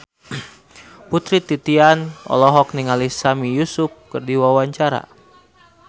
Putri Titian olohok ningali Sami Yusuf keur diwawancara